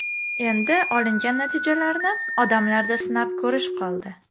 Endi olingan natijalarni odamlarda sinab ko‘rish qoldi.